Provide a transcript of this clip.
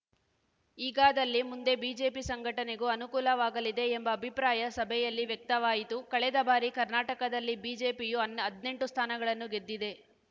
ಹೀಗಾದಲ್ಲಿ ಮುಂದೆ ಬಿಜೆಪಿ ಸಂಘಟನೆಗೂ ಅನುಕೂಲವಾಗಲಿದೆ ಎಂಬ ಅಭಿಪ್ರಾಯ ಸಭೆಯಲ್ಲಿ ವ್ಯಕ್ತವಾಯಿತು ಕಳೆದ ಬಾರಿ ಕರ್ನಾಟಕದಲ್ಲಿ ಬಿಜೆಪಿಯು ಅನ್ ಹದ್ನೆಂಟು ಸ್ಥಾನಗಳನ್ನು ಗೆದ್ದಿದೆ